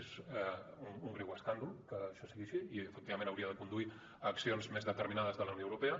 és un greu escàndol que això sigui així i efectivament hauria de conduir a accions més determinades de la unió europea